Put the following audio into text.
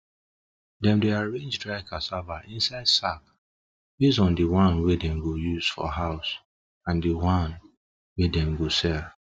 dem dey arrange dry cassava inside sack base on di one dem go use for house and di one dem go sell